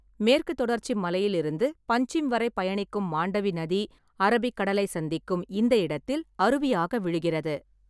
மேற்குத் தொடர்ச்சி மலையிலிருந்து பன்சிம் வரை பயணிக்கும் மாண்டவி நதி அரபிக் கடலை சந்திக்கும் இந்த இடத்தில் அருவியாக விழுகிறது.